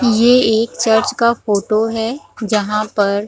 Black colour का कुर्सी है टेबुल लाग है टेबुल भी ब्लैक कलर का है।